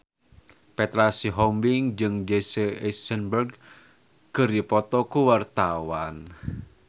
Petra Sihombing jeung Jesse Eisenberg keur dipoto ku wartawan